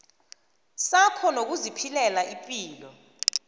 sakho nokuziphilela ipilo